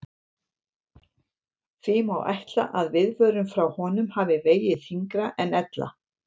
Því má ætla að viðvörun frá honum hafi vegið þyngra en ella.